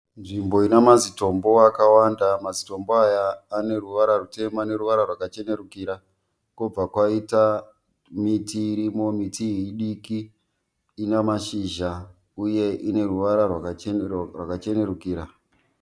Nzvimbo Ina mazitombo akawanda. Mazitombo aya ane ruvara rutema neruvara rwakachenerukira. Kobva kwaita miti irimo. Miti iyi idiki Ina mashizha uye ineruvara rwakachenerukira.